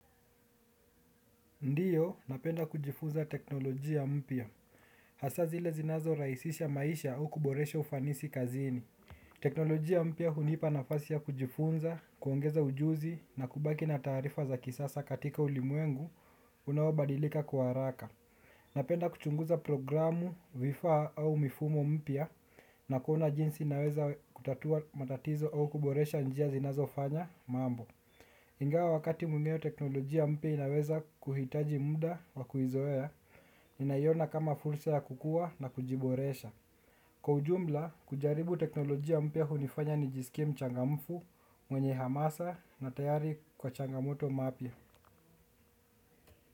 Ndiyo, napenda kujifunza teknolojia mpya. Hasa zile zinazorahisisha maisha au kuboresha ufanisi kazini. Teknolojia mpya hunipa nafasi ya kujifunza, kuongeza ujuzi na kubaki na tarifa za kisasa katika ulimwengu unaobadilika kwa haraka. Napenda kuchunguza programu vifaa au mifumo mpya na kuona jinsi nawezakutatua matatizo au kuboresha njia zinazofanya mambo. Ingawa wakati mwingine teknolojia mpya inaweza kuhitaji muda wa kuizoea, naiona kama fulsa ya kukua na kujiboresha. Kwa ujumla, kujaribu teknolojia mpya hunifanya nijisikia mchangamfu mwenye hamasa na tayari kwa changamoto mapya.